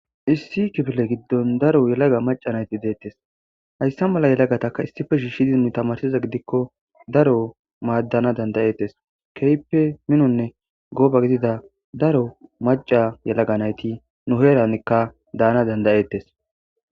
issi kifile giddon daro yelaga maca nayti deettes hayssa mala yelagataka issife shiishshidi nu tamarsiza gidikko daro maaddana dandayettes keype minonne gooba gidida daro maca yalaga nayti nu heerankka daana dandayettes